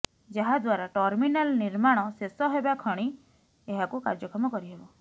ଯାହାଦ୍ବାରା ଟର୍ମିନାଲ ନିର୍ମାଣ ଶେଷ ହେବା କ୍ଷଣି ଏହାକୁ କାର୍ଯ୍ୟକ୍ଷମ କରିହେବ